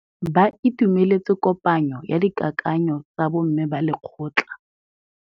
Ba itumeletse kôpanyo ya dikakanyô tsa bo mme ba lekgotla.